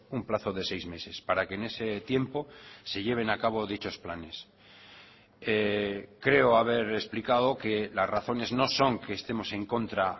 un plazo de seis meses para que en ese tiempo se lleven a cabo dichos planes creo haber explicado que las razones no son que estemos en contra